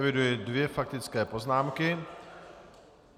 Eviduji dvě faktické poznámky.